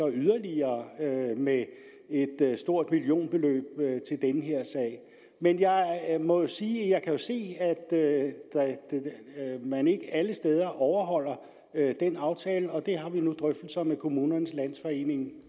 yderligere med et stort millionbeløb men jeg må jo sige at jeg kan se at man ikke alle steder overholder den aftale og det har vi nu drøftelser med kommunernes landsforening